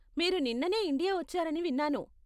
మీరు నిన్ననే ఇండియా వచ్చారని విన్నాను.